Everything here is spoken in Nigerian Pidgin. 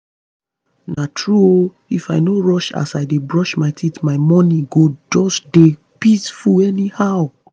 na true ooh if i no rush as i dey brush my teeth my mornings go just dey peaceful anyhow.